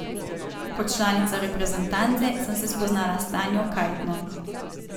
Kot članica reprezentance sem se spoznala s Tanjo Kajtno.